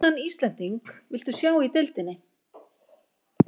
Hvaða annan Íslending viltu sjá í deildinni?